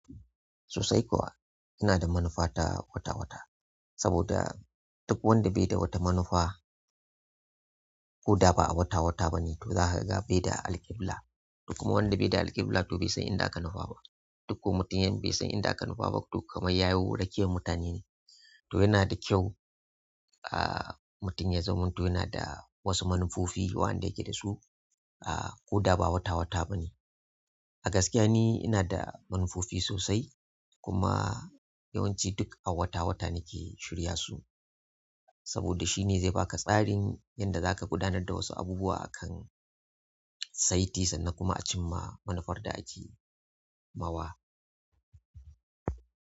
Sosai kuwa, ina da manufa ta wata wata saboda duk wanda bai da wata manufa ko da ba a wata wata ba ne to za ka ga bai da alkibla. Duk kuma wanda bai da alkibla to bai san inda aka nufa ba. Duk ko mutum yan bai san inda aka nufa ba to kamai ya yi wora kiyarmutane ne. To yana da kyau, ah, mutum ya zaman uto yana da wasu manufofi wa'anda yake da su, ah, ko da ba wata wata ba ne. A gaskiya ni ina da manufofi sosai kuma yawanci duk a wata wata nake shirya su saboda shi ne zai baka tsarin yadda za ka gudanar da wasu abubuwa akan saiti sannan kuma a cimma manufar da ake mawa.